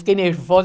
Fiquei nervosa.